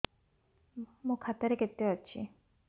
ମୋ ଖାତା ରେ କେତେ ଅଛି